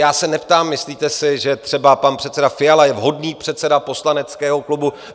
Já se neptám: Myslíte si, že třeba pan předseda Fiala je vhodný předseda poslaneckého klubu?